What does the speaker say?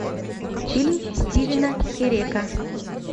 фильм стивена херека